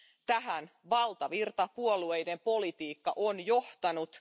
Tähän valtavirtapuolueiden politiikka on johtanut.